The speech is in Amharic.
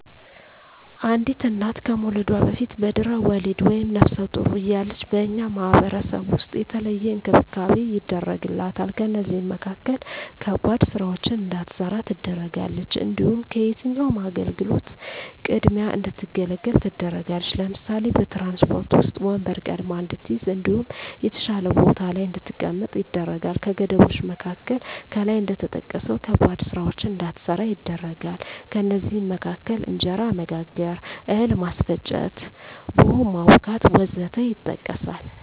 አንዲት እና ከመዉለዷ በፊት(በድሕረ ወሊድ)ወይም ነብሰ ጡር እያለች በእኛ ማህበረሰብ ዉስጥ የተለየ እንክብካቤ ይደረግላታል ከእነዚህም መካከል ከባድ ስራወችን እንዳትሰራ ትደረጋለች። እንዲሁም ከየትኛዉም አገልግሎት ቅድሚያ እንድትገለገል ትደረጋለች ለምሳሌ፦ በትራንስፖርት ዉስጥ ወንበር ቀድማ እንድትይዝ እንዲሁም የተሻለ ቦታ ላይ እንድትቀመጥ ይደረጋል። ከገደቦች መካከል ከላይ እንደተጠቀሰዉ ከባባድ ስራወችን እንዳትሰራ ይደረጋል ከእነዚህም መካከል እንጀራ መጋገር፣ እህል ማስፈጨት፣ ቡሆ ማቡካት ወዘተ ይጠቀሳል